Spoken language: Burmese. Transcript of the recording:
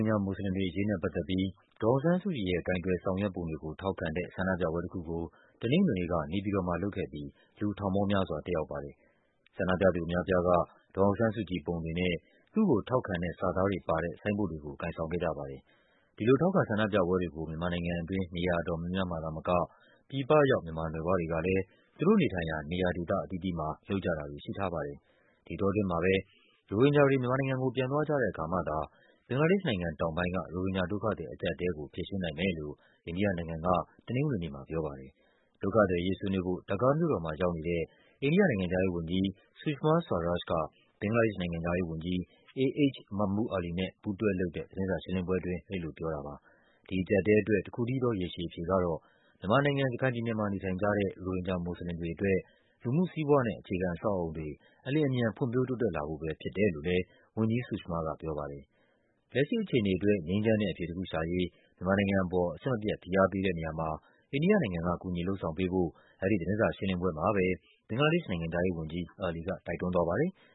င်ဂျာမွတ်စလင်တွေအရေးနဲ့ပတ်သက်ပြီး ဒေါ်အောင်ဆန်းစုကြည်ရဲ့ ကိုင်တွယ်ဆောင်ရွက်ပုံတွေကို ထောက်ခံတဲ့ ဆန္ဒပြပွဲတခုကို တနင်္ဂနွေနေ့က နေပြည်တော်မှာလုပ်ခဲ့ပြီး လူထောင်ပေါင်းများစွာ တက်ရောက်ပါတယ်။ ဆန္ဒပြသူအများအပြားက ဒေါ်အောင်ဆန်းစုကြည်ပုံတွေနဲ့ သူ့ကိုထောက်ခံတဲ့စာသားပါတဲ့ ဆိုင်းဘုတ်တွေကို ကိုင်ဆောင်ခဲ့ကြပါ တယ်။ ဒီလိုထောက်ခံဆန္ဒပြပွဲတွေကို မြန်မာနိုင်ငံတွင်း နေရာအတော်များများမှာသာမက ပြည်ပရောက် မြန်မာနွယ်ဖွားတွေကလဲ သူတို့နေထိုင်ရာ နေရာဒေသအသီးသီးမှာ လုပ်ကြတာတွေရှိထားပါတယ်။ ဒီအတောအတွင်းမှာပဲ ရိုဟင်ဂျာတွေ မြန်မာနိုင်ငံကို ပြန်သွားကြတဲ့အခါမှသာ ဘင်္ဂလားဒေ့ရှ်နိုင်ငံတောင်ပိုင်းက ရိုဟင်ဂျာ ဒုက္ခသည်အကျပ်အတည်းကို ဖြေရှင်းနိုင်မယ်လို့ အိန္ဒိယနိုင်ငံက တနင်္ဂနွေနေ့မှာ ပြောပါတယ်။ ဒုက္ခသည်အရေး ဆွေးနွေးဖို့ ဒါကာမြို့တော်မှာရောက်နေတဲ့ အိန္ဒိယနိုင်ငံခြားရေး Sushma Swaraj က ဘင်္ဂလားဒေ့ရှ်နိုင်ငံခြား ရေးဝန်ကြီး A. H. Mahmood Ali နဲ့ ပူးတွဲလုပ်တဲ့ သတင်းစာရှင်းလင်းပွဲအတွင်း အဲဒီလိုပြောတာပါ။ ဒီအကျပ်အတည်းအတွက် တခုတည်းသော ရေရှည်အဖြေကတော့ မြန်မာနိုင်ငံ၊ ရခိုင်ပြည်နယ်မှာ နေထိုင်ကြတဲ့ ရိုဟင်ဂျာ မွတ်စလင်တွေအတွက် လူမှုစီးပွားနဲ့ အခြေခံအဆောက်အအုံတွေ အလျင်အမြန် ဖွံ့ဖြိုးတိုးတက်လာဖို့ပဲဖြစ်တယ်လို့လဲ ဝန်ကြီး Sushma ကပြောပါတယ်။ လက်ရှိအခြေအနေအတွက် ငြိမ်းချမ်းတဲ့အဖြေတခုရှာရေး မြန်မာနိုင်ငံအပေါ် အဆက်မပြတ် ဖိအားပေး တဲ့နေရာမှာ အိန္ဒိယနိုင်ငံက ကူညီလုပ်ဆောင်ပေးဖို့ အဲဒီသတင်းစာရှင်းလင်းပွဲမှာပဲ ဘင်္ဂလားဒေ့ရှ်နိုင်ငံခြားရေးဝန်ကြီး Ali ကတိုက်တွန်းသွားပါတယ်။